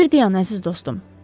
Bir dayan, əziz dostum.